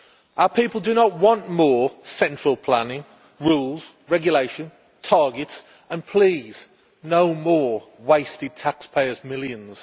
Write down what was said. Our people do not want more central planning, rules, regulation, targets and please, no more wasted taxpayers' millions.